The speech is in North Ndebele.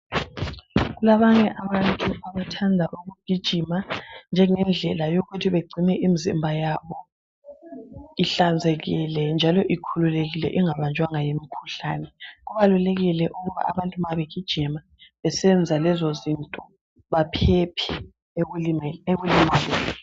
Kulabanye abantu abathanda ukugijima njengendlela yokuthi begcine imizimba yabo ihlanzekile njalo ikhululekile ingabanjwanga yimikhuhlane. Kubalulekile ukuba abantu ma begijima besenza lezizinto baphephe ekulimaleni.